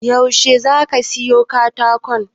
Yaushe zaka siyo katako?